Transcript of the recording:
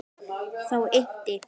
Þá innti